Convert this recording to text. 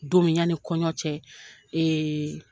Don min ya ni kɔɲɔ cɛ ee